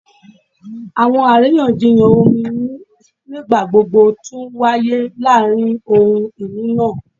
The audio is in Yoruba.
Awọn ariyanjiyan omi nigbagbogbo tun waye laarin ohun-ini naa